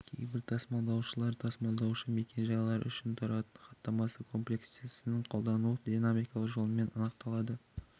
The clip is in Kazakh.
кейбір тасымалдаушылар тасымалдаушы мекен-жайлары үшін және тұратын хаттамасы комплектісін қолданудың динамикалық жолымен анықталады